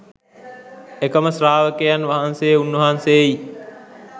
එකම ශ්‍රාවකයන් වහන්සේ උන්වහන්සේයි.